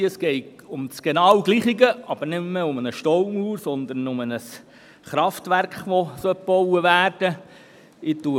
der BaK. Es geht um das Gleiche, aber nicht mehr um eine Staumauer, sondern um ein Kraftwerk, welches gebaut werden sollte.